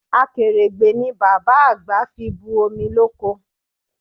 Akèrègbè ni bàbá àgbà fi bu omi loko